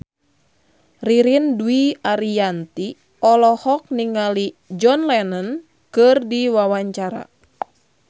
Ririn Dwi Ariyanti olohok ningali John Lennon keur diwawancara